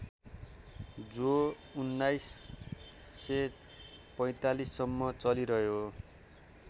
जो १९४५ सम्म चलिरह्यो